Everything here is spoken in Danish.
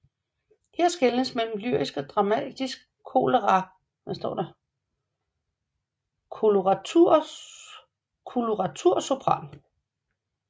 Her skelnes mellem lyrisk og dramatisk koloratursopran